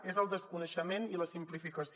és el desconeixement i la simplificació